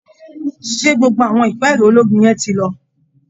ṣé gbogbo àwọn ìpẹ́ẹ̀rẹ̀ ológun yẹn ti lọ?